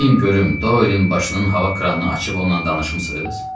Deyin görüm, Doylen başının hava kranını açıb ondan danışmısınız?